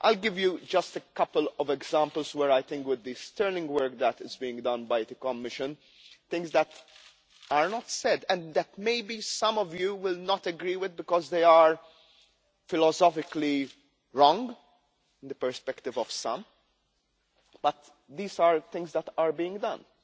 I will give you a couple of examples where sterling work is being done by the Commission things that are not said and that maybe some of you will not agree with, because they are philosophically opposed to the perspective of some but these are things that are being done.